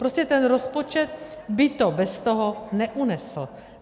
Prostě ten rozpočet by to bez toho neunesl.